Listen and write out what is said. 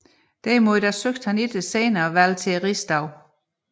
Derimod søgte han ikke senere valg til Rigsdagen